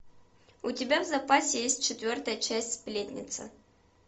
у тебя в запасе есть четвертая часть сплетницы